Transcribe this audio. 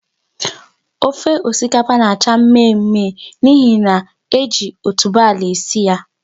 Ofe osikapa na-acha mmemme n'ihi na e ji otubo ala esi ya.